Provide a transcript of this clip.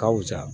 Ka wusa